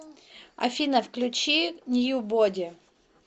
афина включи ньюбоди